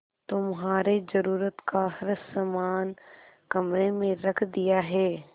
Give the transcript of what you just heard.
तुम्हारे जरूरत का हर समान कमरे में रख दिया है